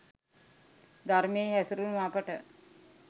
ධර්මයෙහි හැසිරුණු අපට